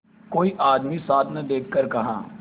कोई आदमी साथ न देखकर कहा